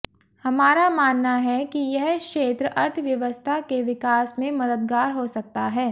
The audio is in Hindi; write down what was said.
हमारा मानना है कि यह क्षेत्र अर्थव्यवस्था के विकास में मददगार हो सकता है